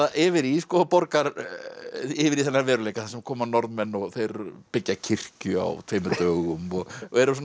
yfir í yfir í þennan veruleika þar sem koma Norðmenn og þeir byggja kirkju á tveimur dögum og og eru svona